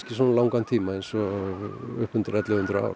svona löngum tíma eða upp undir ellefu hundruð ár